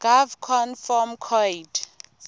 gov conv form coid